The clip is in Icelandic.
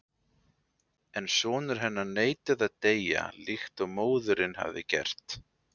En sonur hennar neitaði að deyja líkt og móðirin hafði gert.